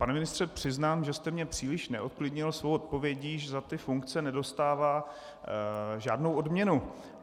Pane ministře, přiznám, že jste mě příliš neuklidnil svou odpovědí, že za ty funkce nedostává žádnou odměnu.